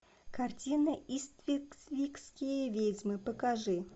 картина иствикские ведьмы покажи